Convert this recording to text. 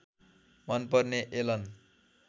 मन पर्ने एलन